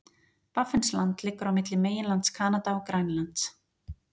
Baffinsland liggur á milli meginlands Kanada og Grænlands.